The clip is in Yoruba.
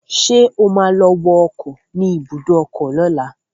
Ṣé o ma lọ wọ ọkọ̀ ni ibùdó ọkọ lọ́la?